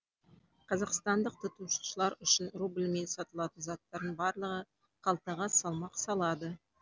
қазақстандық тұтынушылар үшін рубльмен сатылатын заттардың барлығы қалтаға салмақ салады